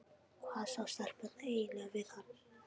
Hvað sáu stelpurnar eiginlega við hann?